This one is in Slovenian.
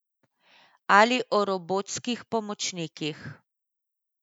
Ali o robotskih pomočnikih.